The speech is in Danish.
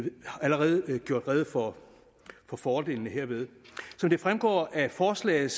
allerede gjort rede for fordelene herved som det fremgår af forslaget